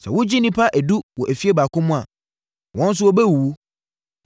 Sɛ wogya nnipa edu wɔ efie baako mu a, wɔn nso bɛwuwu.